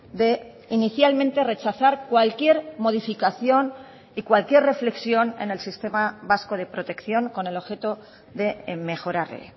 de inicialmente rechazar cualquier modificación y cualquier reflexión en el sistema vasco de protección con el objeto de mejorarle